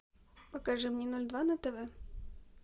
покажи мне ноль два на тв